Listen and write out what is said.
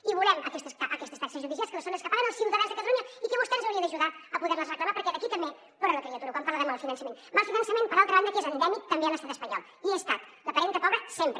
i volem aquestes taxes judicials que són les que paguen els ciutadans de catalunya i que vostè ens hauria d’ajudar a poder les reclamar perquè d’aquí també plora la criatura quan parla de mal finançament mal finançament per altra banda que és endèmic també a l’estat espanyol i hi ha estat la parenta pobra sempre